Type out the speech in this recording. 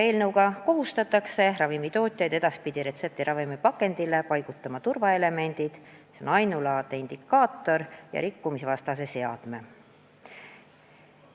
Eelnõuga kohustatakse ravimitootjaid edaspidi retseptiravimi pakendile paigutama turvaelemendid – ainulaadse identifikaatori ja rikkumisvastase seadme.